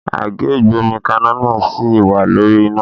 Àgé ìgbómikaná náà sì wà lórí iná